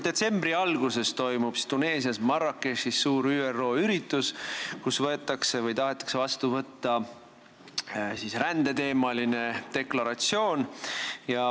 Detsembri alguses toimub Tuneesias Marrakechis suur ÜRO üritus, kus tahetakse vastu võtta rändeteemaline deklaratsioon.